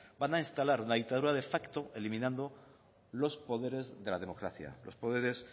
van a instalar una dictadura de facto eliminando los poderes de la democracia los poderes